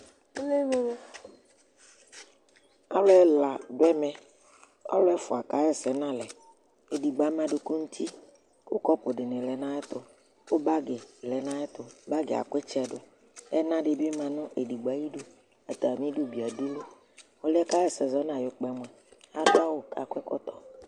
ɑluɛlɑ duɛmɛ ɛfukɑhɛsɛ ɑlɛ ɛdigbo ɑmɑduku nuti kukɔpu dinilɛ nɑyɛtu kubạgi lɛnɑyɛtu bɑgiɑbuitsɛdu ɛnɑdibi mɑnɛdigbo ɑyidu ɑtɑmidu biɑdulu ɔluɛkɑhɛsɛ zɔnɑyukpɑmuɑ ɑdu ɑwu kɑkɔ ɛkɔto